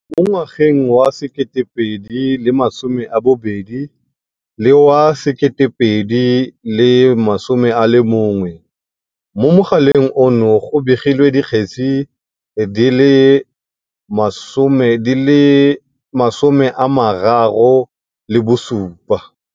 Mo ngwageng wa 2020 le wa 2021, mo mogaleng ono go begilwe dikgetse di le 37.